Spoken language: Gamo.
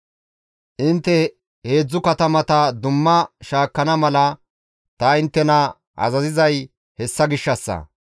Intte heedzdzu katamata dumma shaakkana mala ta inttena azazizay hessa gishshassa.